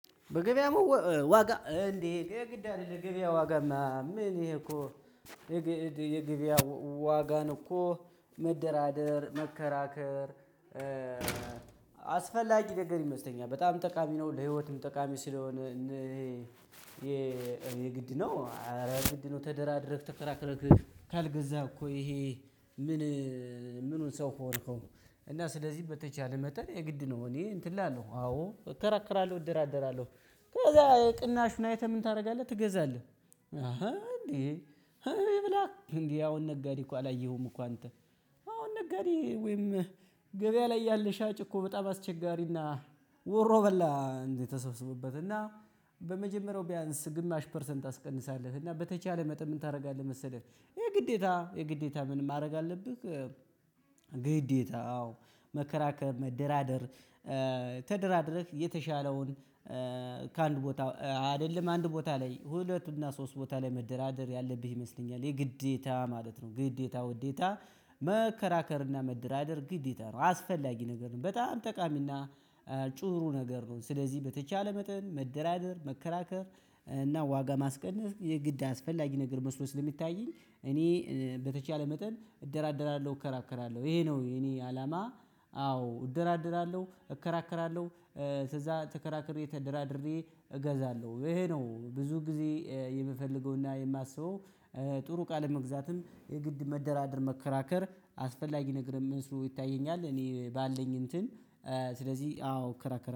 በግበያ ዋጋ እንዴ የግብያ ዋጋማ ምን ይሄ እኮ የግብያ ዋጋን እኮ መደራደር፣ መከራከር አስፈላጊ ነገር ይመስለኛል። በጣም ጠቃሚ ነው። ለህይወትም ጠቃሚ ስለሆነ ይሄ የግድ ነው አረ ግድ ነው ተደራድረህ ተከራክረህ ካልገዛ እኮ ይሄ ምን ምኑን ሰው ሆንህው እና ስለዚህ በተቻለ መጠን የግድ ነው እኔ እንትን እላለሁ አዎ እከራከራለሁ እደራደራለሁ። ከዛ ቅናሹን አይተህ ምን ታደርጋለህ ትገዛለህ እንዴ ብላ እንዴ ያሁን ነጋዴ እኮ አላየሁም እኮ አንተ አሁን ነጋዴ ወይም ገበያ ላይ ያለ ሻጭ እኮ በጣም አስቸጋሪና ወሮ በላ እንዴት ተስብስቦበትና በመጀመሪያው ቢያንስ ግማሽ ፐርሰንት ታስቀንሳለህ እና በተቻለ መጠን ምን ታደርጋለህ መሰለህ የግዴታ የግዴታ ምን ማድረግ አለብህ ግዴታ አዎ መከራከር መደራደር ተደራድረህ የተሻለውን ከአንድ ቦታ አይደለም አንድ ቦታ ላይ ሁለቱና ሶስት ቦታ ላይ መደራደር ያለብህ ይመስለኛ። የ ግዴታ ማለት ነው። ግዴታ ውዴታ መከራከር እና መደራደር ግዴታ ነው አስፈላጊ ነገር ነው። በጣም ጠቃሚና ጥሩ ነገር ነው። ስለዚህ በተቻለ መጠን መደራደር መከራከር እና ዋጋ ማስቀነስ የግድ አስፈላጊ ነገር መስሎ ስለሚታየኝ እኔ በተቻለ መጠን እደራደራለሁ እከራከራለሁ ይሄ ነው የኔ አላማ። አዎ እደራደራለሁ፣ እከራከራለሁ ከዛ ተከራክሬ፤ ተደራድሬ እገዛለሁ ይሄ ነው ብዙ ጊዜ የምፈልገውና የማስበው። ጥሩ እቃ ለመግዛትም የግድ መደራደር መከራከር አስፈላጊ ነገር መስሎ ይታየኛል። እኔ ባለኝ እንትን ስለዚህ አዎ እከራከራ